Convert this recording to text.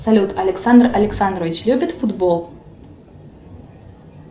салют александр александрович любит футбол